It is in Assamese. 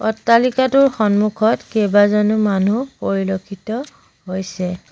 অট্টালিকাটোৰ সন্মুখত কেইবাজনো মানুহ পৰিলক্ষিত হৈছে।